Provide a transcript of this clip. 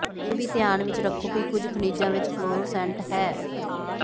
ਇਹ ਵੀ ਧਿਆਨ ਵਿਚ ਰੱਖੋ ਕਿ ਕੁਝ ਖਣਿਜਾਂ ਵਿਚ ਫਲੋਰਸੈਂਟ ਹੈ